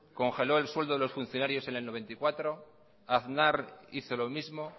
congeló el sueldo de los funcionarios en mil novecientos noventa y cuatro aznar hizo lo mismo